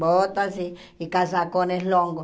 Botas e e casacões longos.